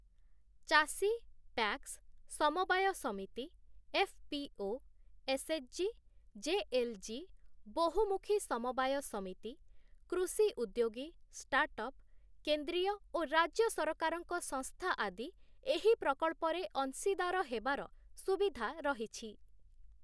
ଚାଷୀ, ପ୍ୟାକ୍ସ, ସମବାୟ ସମିତି, ଏଫ୍‌ପିଓ, ଏସ୍ଏଚଜି, ଜେଏଲ୍‌ଜି, ବହୁମୁଖୀ ସମବାୟ ସମିତି, କୃଷି ଉଦ୍ୟୋଗୀ, ଷ୍ଟାର୍ଟଅପ୍, କେନ୍ଦ୍ରୀୟ ଓ ରାଜ୍ୟ ସରକାରଙ୍କ ସଂସ୍ଥା ଆଦି ଏହି ପ୍ରକଳ୍ପରେ ଅଂଶୀଦାର ହେବାର ସୁବିଧା ରହିଛି ।